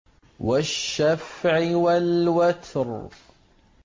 وَالشَّفْعِ وَالْوَتْرِ